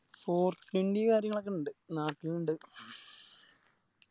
Four twenty കാര്യങ്ങളൊക്കെ ഇണ്ട് നാട്ടിലിണ്ട്